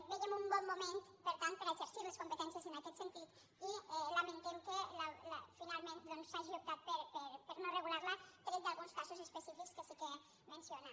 vèiem un bon moment per tant per exercir les competències en aquest sentit i lamentem que finalment s’hagi optat per no regular la tret d’alguns casos específics que sí que menciona